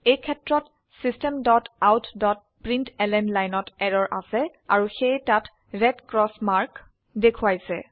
এই ক্ষেত্ৰত systemoutপ্ৰিণ্টলন লাইনত এৰৰ আছে অৰু সেয়ে তাত ৰেড ক্ৰচ মাৰ্ক দেখোৱাইছে